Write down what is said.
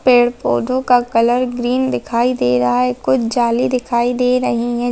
पेड़-पौधों का colour green दिखाई दे रहा है कुछ जाली दिखाई दे रहीं हैं।